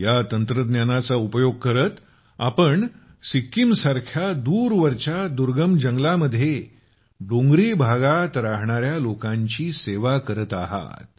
या तंत्रज्ञानाचा उपयोग करत आपण सिक्कीमसारख्या दूरवरच्या दुर्गम जंगलांमध्ये डोंगरी भागात रहाणार्या लोकांची इतकी मोठी सेवा करत आहात